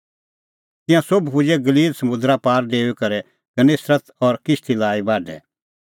तिंयां सोभ पुजै गलील समुंदरा पार डेऊई करै गन्नेसरत और किश्ती लाई बाढै दी